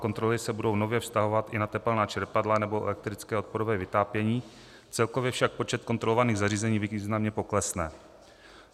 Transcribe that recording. Kontroly se budou nově vztahovat i na tepelná čerpadla nebo elektrické odporové vytápění, celkově však počet kontrolovaných zařízení významně poklesne.